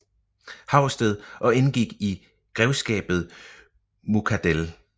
Haugsted og indgik i grevskabet Muckadell